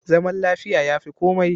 Zaman lafiya ya fi komai.